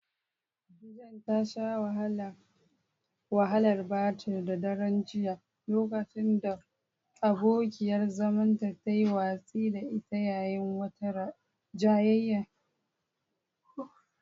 Jane ta sha wahalar batir a daren jiya lokacin da abokiyar zamanta ta yi watsi da ita yayin wata jayayya.